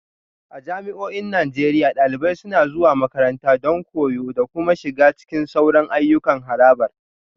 A jami'o'in Najeriya, dalibai suna zuwa makaranta don koyo da kuma shiga cikin sauran ayyukan harabar